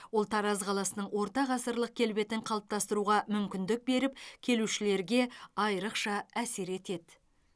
ол тараз қаласының орта ғасырлық келбетін қалыптастыруға мүмкіндік беріп келушілерге айрықша әсер етеді